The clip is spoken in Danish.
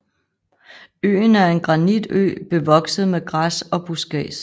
Øen er en granitø bevokset med græs og buskads